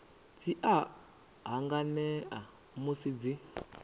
dzi a hanganea musi dzi